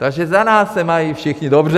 Takže za nás se mají všichni dobře!